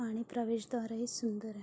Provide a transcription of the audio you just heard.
आणि प्रवेशद्वार ही सुंदर आहे.